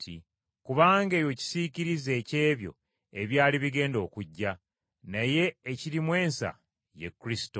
Kubanga ebyo kisiikirize eky’ebyo ebyali bigenda okujja, naye ekirimu ensa ye Kristo.